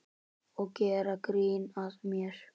Og gera grín að mér.